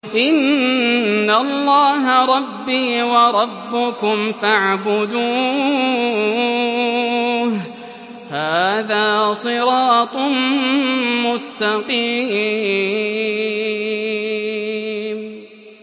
إِنَّ اللَّهَ رَبِّي وَرَبُّكُمْ فَاعْبُدُوهُ ۗ هَٰذَا صِرَاطٌ مُّسْتَقِيمٌ